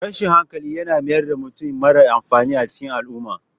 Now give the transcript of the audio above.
Rashin hankali yana mayar da mutum mara amfani a cikin al'umma.